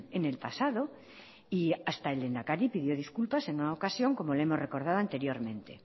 en el pasado y hasta el lehendakari pidió disculpas en una ocasión como le hemos recordado anteriormente